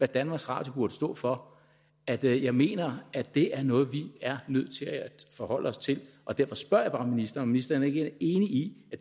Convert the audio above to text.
danmarks radio står for at jeg mener at det er noget vi er nødt til at forholde os til derfor spørger jeg bare ministeren ministeren er enig